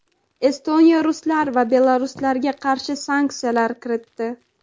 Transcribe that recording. Estoniya ruslar va belaruslarga qarshi sanksiyalar kiritdi.